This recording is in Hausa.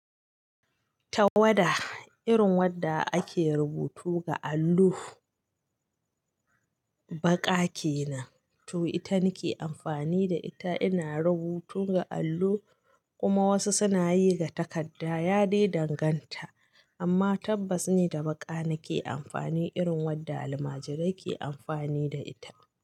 Tawada, irin wadda ake rubutu ga allo, baƙa ke nan. To ita nake amfani da ita ina rubutu ga allo kuma wasu suna yi ga takadda. Ya dai danganta amma tabbas ni da baƙa nake amfani irin wadda almajirai ke amfani da ita.